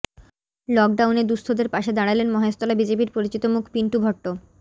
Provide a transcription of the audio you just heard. লকডাউনে দুঃস্থদের পাশে দাঁড়ালেন মহেশতলা বিজেপির পরিচিত মুখ পিন্টু ভট্ট